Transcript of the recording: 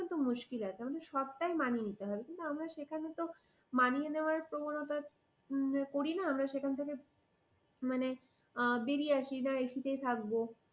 একটু মুশকিল আছে, আমাদের সবটাই মানিয়ে নিতে হবে। কিন্তু আমরা সেখানে তো মানিয়ে নেওয়ার প্রবণতা করি না। আমরা সেখান থেকে মানে বেরিয়ে আসি। না ac তেই থাকবো।